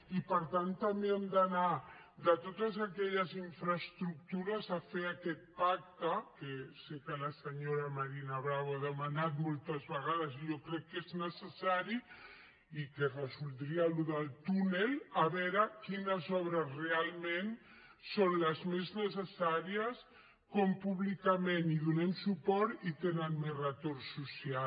i per tant també hem d’anar de totes aquelles infraestructures a fer aquest pacte que sé que la senyora marina bravo ha demanat moltes vegades i jo crec que és necessari i que resoldria allò del túnel a veure quines obres realment són les més necessàries com públicament hi donem suport i tenen més retorn social